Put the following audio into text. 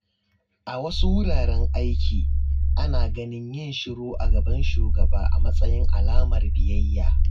A wasu wuraren aiki, ana ganin yin shiru a gaban shugaba a matsayin alamar biyayya.